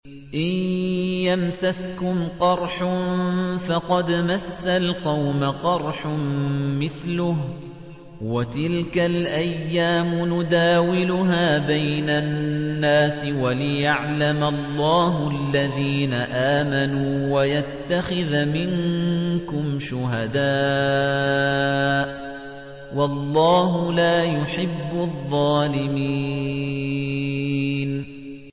إِن يَمْسَسْكُمْ قَرْحٌ فَقَدْ مَسَّ الْقَوْمَ قَرْحٌ مِّثْلُهُ ۚ وَتِلْكَ الْأَيَّامُ نُدَاوِلُهَا بَيْنَ النَّاسِ وَلِيَعْلَمَ اللَّهُ الَّذِينَ آمَنُوا وَيَتَّخِذَ مِنكُمْ شُهَدَاءَ ۗ وَاللَّهُ لَا يُحِبُّ الظَّالِمِينَ